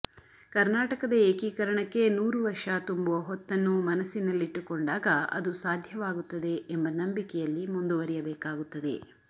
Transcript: ಕರ್ನಾಟಕದ ಏಕೀಕರಣಕ್ಕೆ ನೂರು ವರ್ಷ ತುಂಬುವ ಹೊತ್ತನ್ನು ಮನಸ್ಸಿನಲ್ಲಿಟ್ಟುಕೊಂಡಾಗ ಅದು ಸಾಧ್ಯವಾಗುತ್ತದೆ ಎಂಬ ನಂಬಿಕೆಯಲ್ಲಿ ಮುಂದುವರಿಯಬೇಕಾಗುತ್ತದೆ